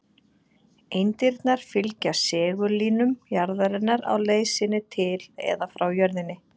Eindirnar fylgja segullínum jarðarinnar á leið sinni til eða frá jörðinni.